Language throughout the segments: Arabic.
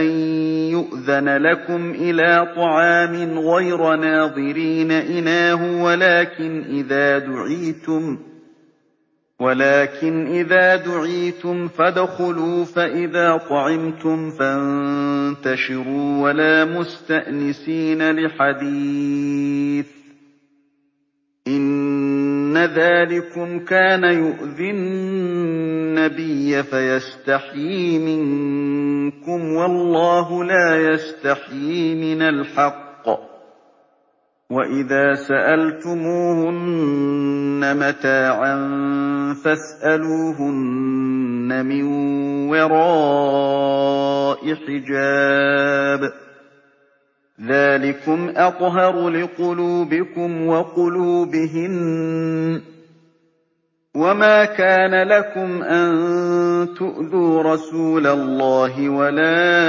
أَن يُؤْذَنَ لَكُمْ إِلَىٰ طَعَامٍ غَيْرَ نَاظِرِينَ إِنَاهُ وَلَٰكِنْ إِذَا دُعِيتُمْ فَادْخُلُوا فَإِذَا طَعِمْتُمْ فَانتَشِرُوا وَلَا مُسْتَأْنِسِينَ لِحَدِيثٍ ۚ إِنَّ ذَٰلِكُمْ كَانَ يُؤْذِي النَّبِيَّ فَيَسْتَحْيِي مِنكُمْ ۖ وَاللَّهُ لَا يَسْتَحْيِي مِنَ الْحَقِّ ۚ وَإِذَا سَأَلْتُمُوهُنَّ مَتَاعًا فَاسْأَلُوهُنَّ مِن وَرَاءِ حِجَابٍ ۚ ذَٰلِكُمْ أَطْهَرُ لِقُلُوبِكُمْ وَقُلُوبِهِنَّ ۚ وَمَا كَانَ لَكُمْ أَن تُؤْذُوا رَسُولَ اللَّهِ وَلَا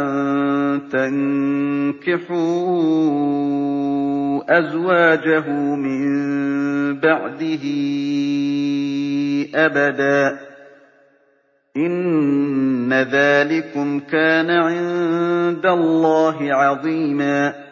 أَن تَنكِحُوا أَزْوَاجَهُ مِن بَعْدِهِ أَبَدًا ۚ إِنَّ ذَٰلِكُمْ كَانَ عِندَ اللَّهِ عَظِيمًا